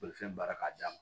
Bolifɛn baara ka d'a ma